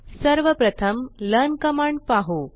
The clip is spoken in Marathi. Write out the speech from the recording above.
सर्वप्रथम लर्न कमांड पाहु